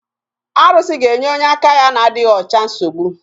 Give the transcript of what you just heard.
Arụsị ga-enye onye aka ya na-adịghị ọcha nsogbu